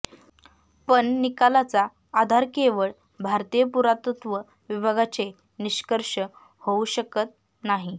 पण निकालाचा आधार केवळ भारतीय पुरातत्त्व विभागाचे निष्कर्ष होऊ शकत नाही